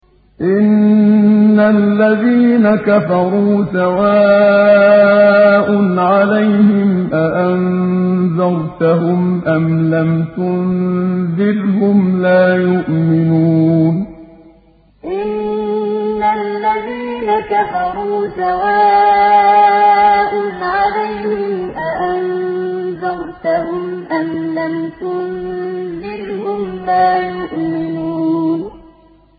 إِنَّ الَّذِينَ كَفَرُوا سَوَاءٌ عَلَيْهِمْ أَأَنذَرْتَهُمْ أَمْ لَمْ تُنذِرْهُمْ لَا يُؤْمِنُونَ إِنَّ الَّذِينَ كَفَرُوا سَوَاءٌ عَلَيْهِمْ أَأَنذَرْتَهُمْ أَمْ لَمْ تُنذِرْهُمْ لَا يُؤْمِنُونَ